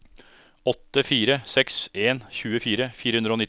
åtte fire seks en tjuefire fire hundre og nitti